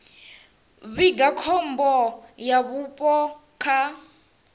vhiga khombo ya vhupo kha